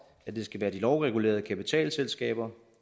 at det skal være de lovregulerede kapitalselskaber